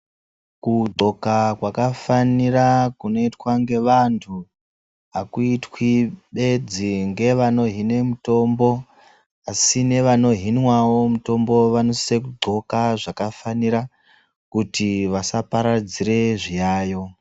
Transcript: Kudxoka kwakafanira kunotwa ngevantu hakuitwi bedzi ngevanohine mitombo. Asi nevano hinwavo mitombo vanosisa kudhloka zvakafanira kuti vasa paradzire zviyayo.